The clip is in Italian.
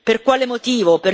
Per quale motivo?